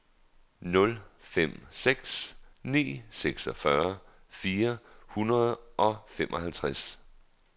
nul fem seks ni seksogtyve fire hundrede og femoghalvtreds